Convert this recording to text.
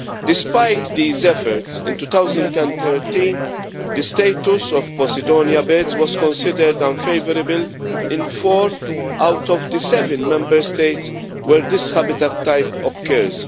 Despite these efforts, in 2013, the status of Posidonia beds was considered unfavourable in four of the seven Member States where this habitat type occurs.